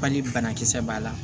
Bali banakisɛ b'a la